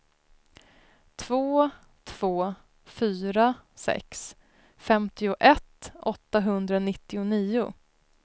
två två fyra sex femtioett åttahundranittionio